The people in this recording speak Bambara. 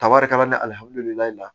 Kaba de ka na ni alihamudulilayi la